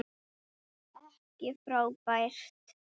Ekki frábær.